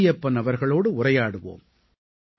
மாரியப்பன் அவர்களோடு உரையாடுவோம்